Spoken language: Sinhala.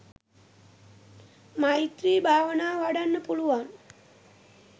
මෛත්‍රී භාවනාව වඩන්න පුළුවන්.